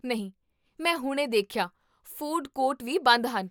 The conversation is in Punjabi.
ਨਹੀਂ, ਮੈਂ ਹੁਣੇ ਦੇਖਿਆ, ਫੂਡ ਕੋਰਟ ਵੀ ਬੰਦ ਹਨ